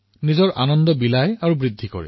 নিজৰ আনন্দ বিনিময় কৰে